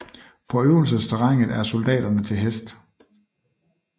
På øvelsesterrænet er soldaterne til hest